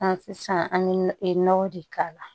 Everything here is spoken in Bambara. An sisan an bɛ nɔgɔ de k'a la